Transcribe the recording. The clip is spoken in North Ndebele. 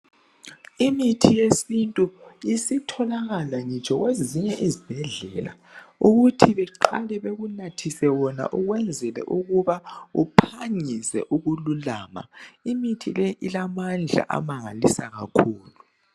Imithi yesintu isitholakala ngitsho kwezinye izibhedlela, ukuthi beqale bakunathise wona ukwenzela ukuba uphangise ukululama. Imithi le ilamandla amangalisa kakhulu.